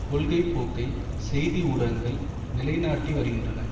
கொள்கைப்போக்கை செய்தி ஊடகங்கள் நிலைநாட்டி வருகின்றன